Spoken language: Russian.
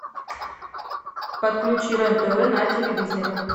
подключи рен тв на телевизоре